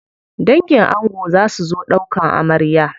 Dangin ango za su zo ɗaukan amarya.